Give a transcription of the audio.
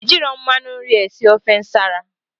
Ejirọ mmanụ nri esi ofe nsala